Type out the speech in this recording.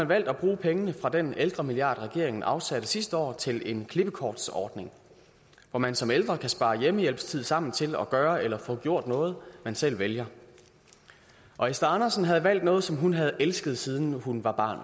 valgt at bruge pengene fra den ældremilliard regeringen afsatte sidste år til en klippekortsordning hvor man som ældre kan spare hjemmehjælpstid sammen til at gøre eller få gjort noget man selv vælger og esther andersen havde valgt noget som hun havde elsket siden hun var barn